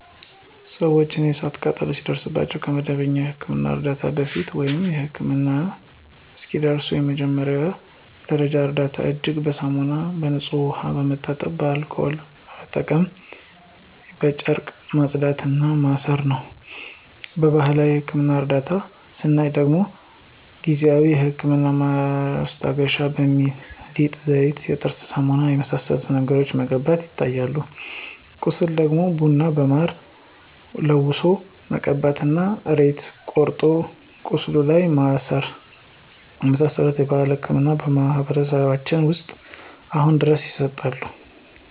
ሰውነታችን የእሳት ቃጠሎ ሲደርስበት ከመደበኛ የሕክምና ዕርዳታ በፊት፣ ወይም ህክምና እስኪደርሱ የመጀመሪያ ደረጃ እርዳታ እጅን በሳሙናና በንጹህ ውሃ በመታጠብ አልኮል በመጠቀም በጨርቅ ማጽዳት እና ማሰር ነው። በባህላዊ የህክምና እርዳታ ስናይ ደግሞ ጊዜአዊ የህመም ማስታገሻ በሚል ሊጥ፣ ዘይት፣ የጥርስ ሳሙና የመሳሰሉትን ነገሮችን መቀባቶች ይታያሉ። ለቁስል ደግሞ ቡና በማር ለውሶ መቀባት እና ሬት ቆርጦ ቁስሉ ላይ ማሰር የመሳሰሉት ባህላዊ ህክምናዎች በማህበረሰባችን ውስጥ አሁንም ድረስ ይሰጣሉ (ይዘወተራሉ)።